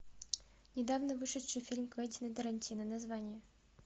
недавно вышедший фильм квентина тарантино название